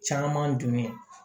Caman dun bɛ